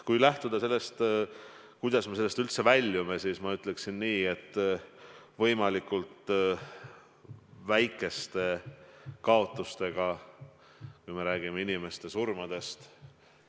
Kui lähtuda sellest, kuidas me sellest kriisist väljume, siis ma ütleksin nii, et püüame seda teda võimalikult väikeste kaotustega, kui me räägime inimeste surmadest.